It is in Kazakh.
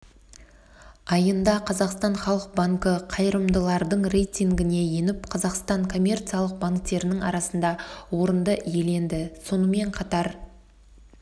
айында қазақстан халық банкі қайырымдылардың рейтингіне еніп қазақстандық коммерциялық банктерінің арасында орынды иеленді сонымен қатар